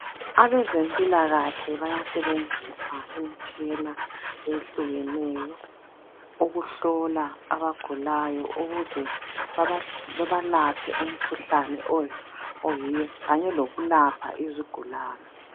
Abaze mpilakahle bayasebenzisa imitshina eyehlukeneyo ukuhlola abagulayo ukuze babalapheumkhuhlane oyiyo Kanye lokulapha izigulane